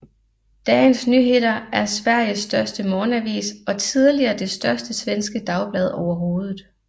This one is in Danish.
Dagens Nyheter er Sveriges største morgenavis og tidligere det største svenske dagblad overhovedet